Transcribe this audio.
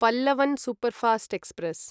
Pallavan superfast express